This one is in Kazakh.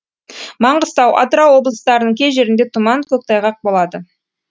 маңғыстау атырау облыстарының кей жерінде тұман көктайғақ болады